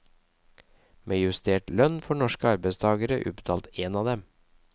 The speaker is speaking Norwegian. Med justert lønn får norske arbeidstagere utbetalt én av dem.